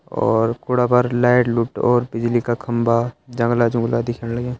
और कुड़ा पर लाइट लूट और बिजली का खम्बा जंगला जुंगला दिखेण लग्यां।